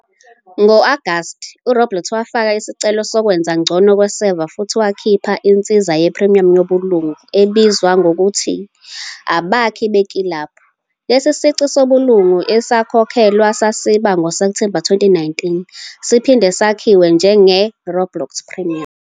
Ngo-Agasti, uRoblox wafaka isicelo sokwenza ngcono kweseva futhi wakhipha insiza ye-premium yobulungu ebizwa ngokuthi "Abakhi beKilabhu." Lesi sici sobulungu esikhokhelwayo sasiba ngoSepthemba 2019, siphinde sakhiwa njenge "Roblox Premium."